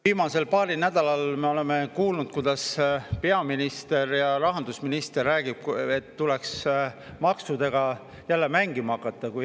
Viimasel paaril nädalal me oleme kuulnud, kuidas peaminister ja rahandusminister räägivad, et tuleks maksudega jälle mängima hakata.